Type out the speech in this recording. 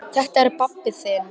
Þetta er pabbi þinn.